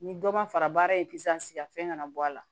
Ni dɔ ma fara baara in kan fɛn kana bɔ a la